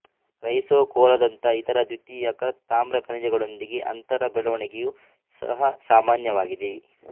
ಕ್ರೈಸೋಕೊಲ್ಲಾದಂಥ ಇತರ ದ್ವಿತೀಯಕ ತಾಮ್ರ ಖನಿಜಗಳೊಂದಿಗಿನ ಅಂತರ ಬೆಳವಣಿಗೆಯೂ ಸಹ ಸಾಮಾನ್ಯವಾಗಿದೆ